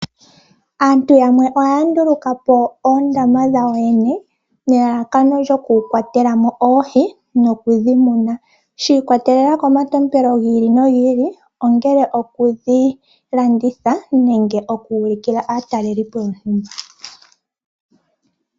Aantu yamwe ohaya nduluka po oondama dhawo yene nelalakano lyokukwatela mo oohi nokudhi muna, shi ikwatelela komatompelo gi ili nogi ili ongele okudhilanditha nenge okuulikila aatalelipo yontumba.